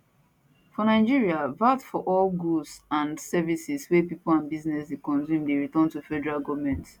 for nigeria vat from all goods and services wey pipo and businesses dey consume dey return to federal goment